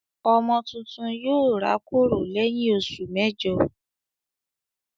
Ọmọ tuntun yóò rákòrò lẹ́yìn oṣù mẹ́jọ.